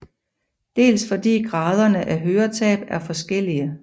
Dels fordi graderne af høretab er forskellige